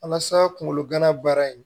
Walasa kungolo gana baara in